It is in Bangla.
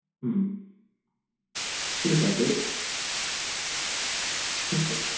হু ঠিক আছে হু ঠিক আছে